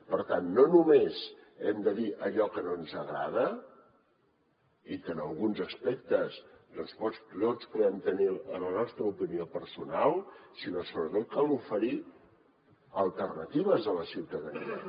per tant no només hem de dir allò que no ens agrada i que en alguns aspectes potser tots podem tenir a la nostra opinió personal sinó sobretot cal oferir alternatives a la ciutadania